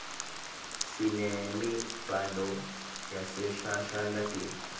simemidzalo yaseshashalntini